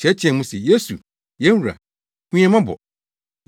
teɛteɛɛ mu se, “Yesu, yɛn wura, hu yɛn mmɔbɔ!”